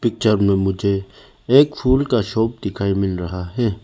Picture में मुझे एक फूल का शॉप दिखाई मिल रहा है।